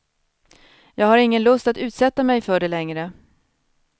Jag har ingen lust att utsätta mig för det längre.